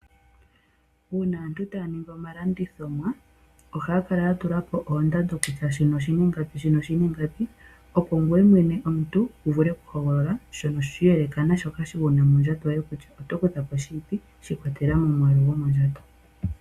Uuna aantu taa ningi omalanditho, ohaya kala ya tula ko oondando, kutya shino oshi na ingapi, opo ngoye mwene wu vule okuhogolola shono shi iyeleka naashoka wu na mondjato yoye kutya oto kutha po shini, shi ikwatelela komwaalu gomondjato.